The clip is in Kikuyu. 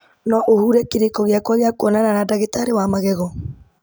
no ũhure kĩrĩko gĩakwa gĩa kwonana na ndagĩtarĩ wa magego